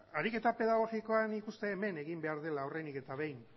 ariketa pedagogikoa nik uste hemen egin behar dela lehenik eta behin